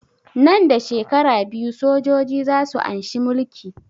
Nan da shekara biyu sojoji za su anshi mulki